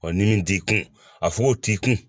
ni min t'i kun a fugo t'i kun